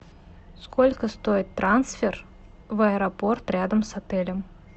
сколько стоит трансфер в аэропорт рядом с отелем